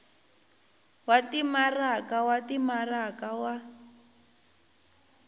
wa timaraka wa timaraka wa